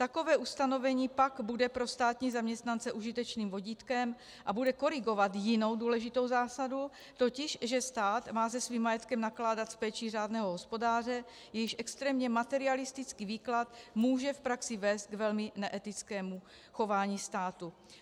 Takové ustanovení pak bude pro státní zaměstnance užitečnými vodítkem a bude korigovat jinou důležitou zásadu, totiž, že stát má se svým majetkem nakládat s péčí řádného hospodáře, jejíž extrémně materialistický výklad může v praxi vést k velmi neetickému chování státu.